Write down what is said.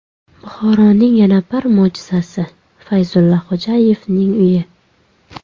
Buxoroning yana bir mo‘jizasi: Fayzulla Xo‘jayevning uyi .